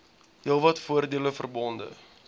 heelwat voordele verbonde